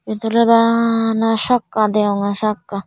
eyot oley bana sakka deyonge sakka.